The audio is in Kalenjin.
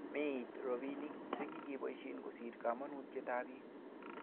Meit robinik che kakiboisie kosir komonutietab bik